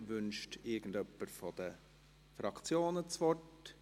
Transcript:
Wünscht jemand von den Fraktionen das Wort?